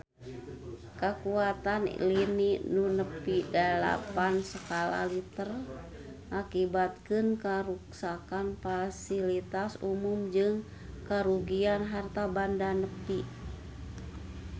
Kakuatan lini nu nepi dalapan skala Richter ngakibatkeun karuksakan pasilitas umum jeung karugian harta banda nepi ka 10 juta rupiah